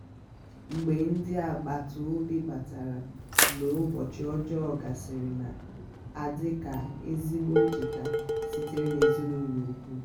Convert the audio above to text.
mgbe ndi agbata obi batara mgbe ụbọchi ọjọọ gasịrịọ na-adị ka ezigbo ncheta sitere n'èzínùlọ̀ ùkwù.